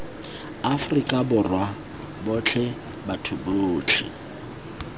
afrika borwa botlhe batho botlhe